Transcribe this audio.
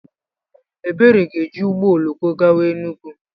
Ebere ga-eji ụgbọ oloko gawa Enugwu.